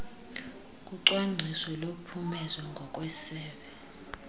kocwangciso lophumezo ngokwesebe